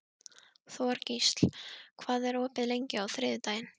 Þorgísl, hvað er opið lengi á þriðjudaginn?